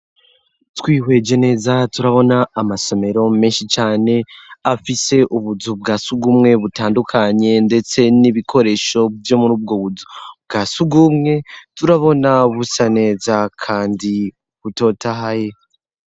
Twihweje neza, turabona amasomero menshi cane, afise ubuzu bwa sugumwe butandukanye, ndetse n'ibikoresho vyo mur'ubwo buzu bwa sugumwe, turabona busa neza kandi butotahaye.